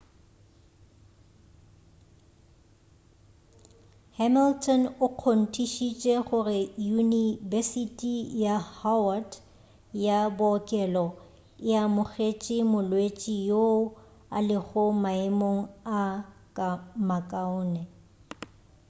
hamilton o kgontišišitše gore yunibesiti ya howard ya bookelo e amogetše molwetši yoo a lego maemong a makaone